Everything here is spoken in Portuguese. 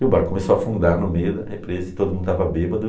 E o barco começou a afundar no meio da represa e todo mundo estava bêbado.